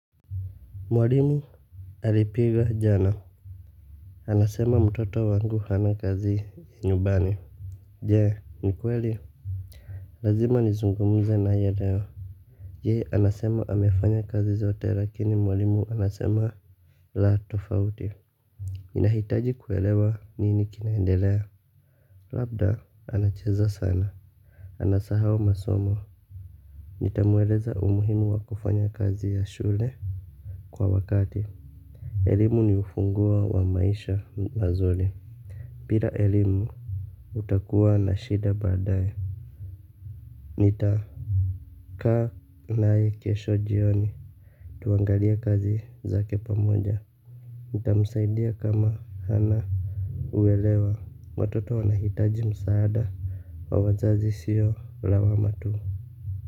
Mwalimu alipiga jana. Anasema mtoto wangu ana kazi ya nyumbani. Je ni kweli. Lazima nizungumze naye leo yeye anasema amefanya kazi zote lakini mwalimu anasema. La tofauti. Ninahitaji kuelewa nini kinaendelea. Labda anacheza sana. Anasahau masomo. Nitamueleza umuhimu wa kufanya kazi ya shule. Kwa wakati elimu ni ufunguo wa maisha mazuri bila elimu utakuwa na shida baadaye. Nita kaa nae kesho jioni. Tuangalie kazi zake pamoja. Nitamsaidia kama hana uelewa watoto wanahitaji msaada wa wazazi sio lawama tu.